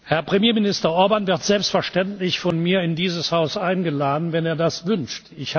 Herr Premierminister Orbán wird selbstverständlich von mir in dieses Haus eingeladen, wenn er das wünscht.